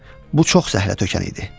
Bu çox zəhlətökən idi.